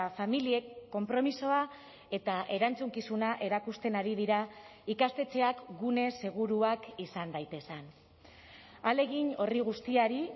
familiek konpromisoa eta erantzukizuna erakusten ari dira ikastetxeak gune seguruak izan daitezen ahalegin horri guztiari